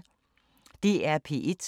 DR P1